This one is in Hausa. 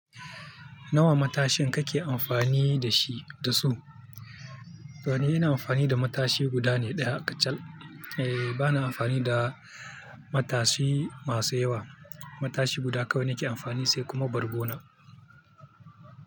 Nawa matashin kake amfani da shi da su? To ni ina amfani da matashi guda ne ɗaya kacal. Eh ba na amfani da matashi masu yawa. Matashi guda kawai nake amfani sai kuma bargo na.